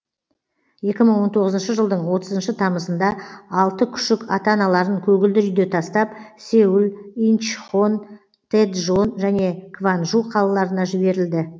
екі мың он тоғызыншы жылдың отызыншы тамызында алты күшік ата аналарын көгілдір үйде тастап сеул инчхон тэджон және кванжу қалаларына жіберілді